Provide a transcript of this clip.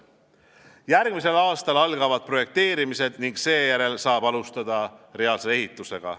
Järgmisel aastal algavad projekteerimised ning seejärel saab alustada reaalse ehitusega.